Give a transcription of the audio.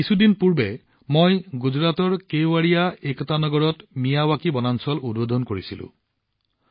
কিছুদিন আগতে গুজৰাটৰ কেৱাদিয়া একতা নগৰত মিয়াৱকী বনাঞ্চল উদ্বোধন কৰিছিলোঁ